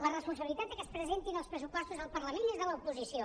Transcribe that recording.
la responsabilitat de que es presentin els pressupostos al parlament és de l’oposició